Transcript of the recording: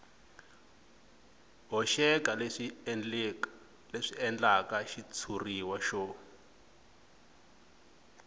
hoxeka leswi endlaka xitshuriwa xo